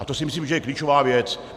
A to si myslím, že je klíčová věc.